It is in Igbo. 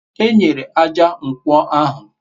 enyere ájá nkwo ahu